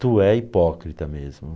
Tu é hipócrita mesmo.